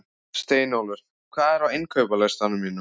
Steinólfur, hvað er á innkaupalistanum mínum?